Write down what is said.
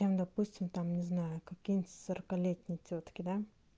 допустим там не знаю какие-нибудь сорокалетний тётки да